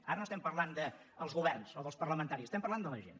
ara no estem parlant dels governs o dels parlamentaris estem parlant de la gent